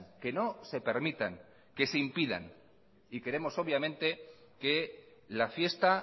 que no se permitan que se impidan y queremos obviamente que la fiesta